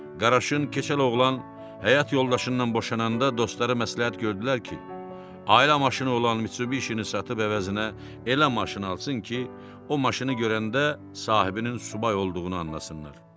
Qaraşın keçəl oğlan həyat yoldaşından boşanda dostları məsləhət gördülər ki, ailə maşını olan Mitsubishini satıb əvəzinə elə maşın alsın ki, o maşını görəndə sahibinin subay olduğunu anlasınlar.